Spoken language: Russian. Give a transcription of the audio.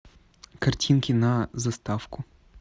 картинки на заставку